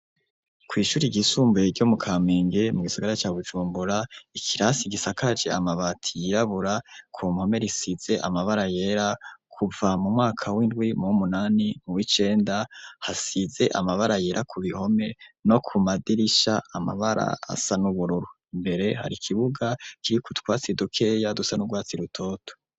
Kw'Ishuri ry'isumbuye ryo mu kamenge, mu gisigara ca Bujumbura ,Ikirasi gisakaje amabati yirabura, ku mpome risize amabara yera, kuva mu mwaka w'indwi, muwumunani, mu wicenda, hasize amabara yera ku bihome, no ku madirisha amabara asa n'ubururu. Imbere hari ikibuga kiriku twatsi dukeya, dusa n'urwatsi rutoto.